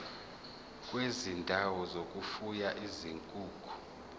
kwezindawo zokufuya izinkukhu